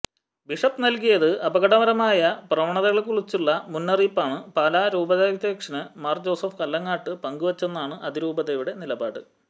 bishop നൽകിയത് അപകടകരമായ പ്രവണതകളെക്കുറിച്ചുള്ള മുന്നറിയിപ്പാണ് പാലാ രൂപതാദ്ധ്യക്ഷന് മാര് ജോസഫ് കല്ലറങ്ങാട്ട് പങ്കുവച്ചതെന്നാണ് അതിരൂപതയുടെ നിലപാട്